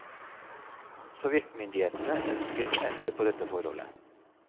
Sovjetmyndighetene ønsket å endre på dette forholdet.